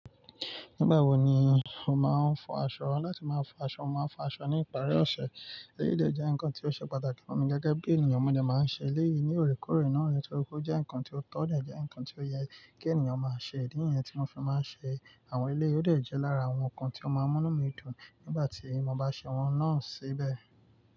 Nígbà wo ni o máa ń fọ aṣọ? Láti máa fọ aṣọ, mo máa ń fọ aṣọ ní ìparí ọ̀sẹ̀. Eyìí dẹ̀ jẹ́ ǹkan tí ó ṣe pàtàkì fún mi gẹ́gẹ́ bí ènìyàn. Mo dẹ̀ máa ń ṣe léyìí ní òrékórè náà nitorí pé ó jẹ́ ǹkan tí ó tọ́, o de jẹ́ ǹkan tí ó yẹ kí ènìyàn máa ṣe. Idí niyẹn tí mo fi máa ń ṣe àwọn eleyi, ò dẹ̀ jẹ́ lára àwọn ǹkan tí ó máa ń múnu mí dùn nígbà tí mo bá ṣe wọn náà síbẹ̀.